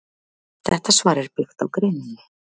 Þetta svar er byggt á greininni.